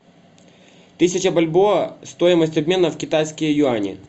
тысяча бальбоа стоимость обмена в китайские юани